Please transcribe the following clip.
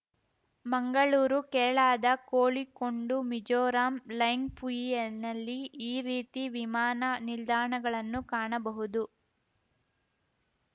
ಮಂಗಳೂರು ಕೇರಳದ ಕೋಳಿಕೋಂಡು ಮಿಜೋರಾಂನ ಲೆಂಗ್‌ಪುಯಿನಲ್ಲಿ ಈ ರೀತಿ ವಿಮಾನ ನಿಲ್ದಾಣಗಳನ್ನು ಕಾಣಬಹುದು